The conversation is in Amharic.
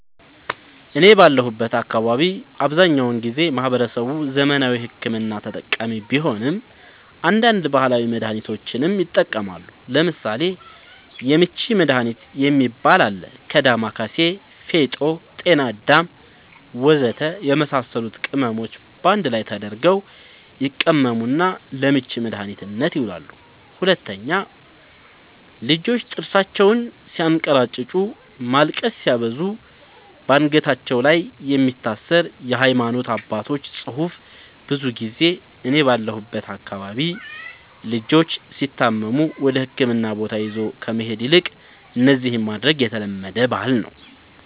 እኔ ባለሁበት አካባቢ አብዛኛውን ጊዜ ማህበረሰቡ ዘመናዊ ሕክምና ተጠቃሚ ቢሆንም አንዳንድ ባህላዊ መድሃኒቶችንም ይጠቀማሉ ለምሳሌ:- የምች መድሃኒት የሚባል አለ ከ ዳማከሲ ፌጦ ጤናአዳም ወዘተ የመሳሰሉት ቅመሞች ባንድ ላይ ተደርገው ይቀመሙና ለምች መድኃኒትነት ይውላሉ 2, ልጆች ጥርሳቸውን ስያንከራጭጩ ማልቀስ ሲያበዙ ባንገታቸው ላይ የሚታሰር የሃይማኖት አባቶች ፅሁፍ ብዙ ጊዜ እኔ ባለሁበት አካባቢ ልጆች ሲታመሙ ወደህክምና ቦታ ይዞ ከመሄድ ይልቅ እነዚህን ማድረግ የተለመደ ባህል ነዉ